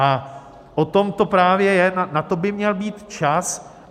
A o tom to právě je, na to by měl být čas.